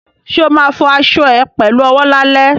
Ṣo ma fọ aṣọ ẹ pẹ̀lú owó lálẹ́?